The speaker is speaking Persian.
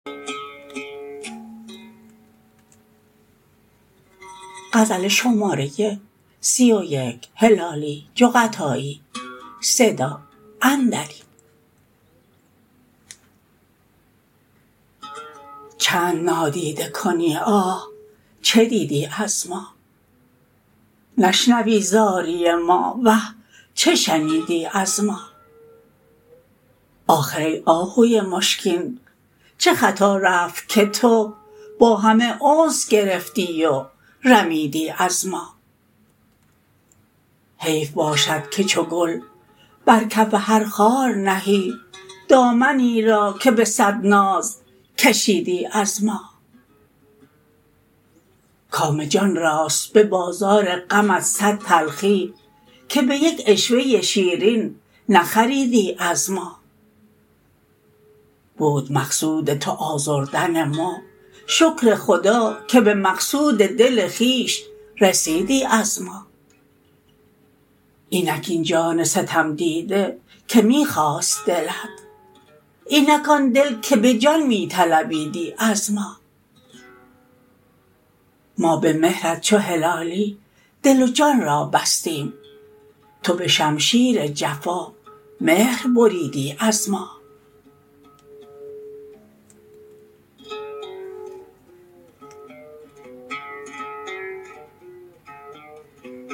چند نادیده کنی آه چه دیدی از ما نشنوی زاری ما وه چه شنیدی از ما آخر ای آهوی مشکین چه خطا رفت که تو با همه انس گرفتی و رمیدی از ما حیف باشد که چو گل بر کف هر خار نهی دامنی را که به صد ناز کشیدی از ما کام جان راست به بازار غمت صد تلخی که به یک عشوه شیرین نخریدی از ما بود مقصود تو آزردن ما شکر خدا که به مقصود دل خویش رسیدی از ما اینک این جان ستم دیده که می خواست دلت اینک آن دل که به جان می طلبیدی از ما ما به مهرت چو هلالی دل و جان را بستیم تو به شمشیر جفا مهر بریدی از ما